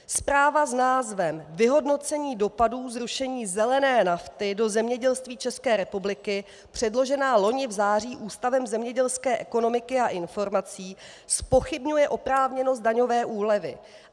Zpráva s názvem Vyhodnocení dopadu zrušení zelené nafty do zemědělství České republiky, předložená loni v září Ústavem zemědělské ekonomiky a informací, zpochybňuje oprávněnost daňové úlevy.